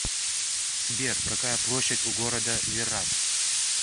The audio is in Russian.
сбер какая площадь у города виррат